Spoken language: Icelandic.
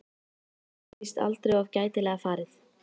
Það er víst aldrei of gætilega farið.